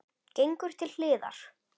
Gengur til hliðar.